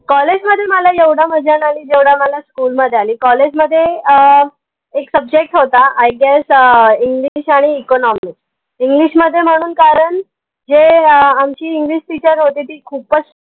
College मध्ये मला एवढा मजा नाई अली जेवढा मला school मध्ये अली College मध्ये अह एक subject होता Iguess आह english आणि economics english मध्ये म्हणून कारन जे आह आमची english teacher होती ती खूपच